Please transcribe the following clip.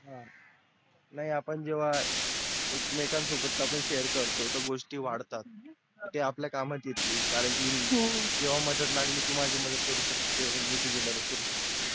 नाही आपण जेव्हा एकमेकांसोबत आपण share करतो तर गोष्टी वाढतात त्या आपल्या कामात येतील कारण कि जेव्हा मदत लागली तेव्हा तू माझी मदत करू शकते मी तुझ मदत करू शकतो